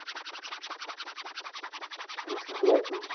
Hello সালামুআলাইকুম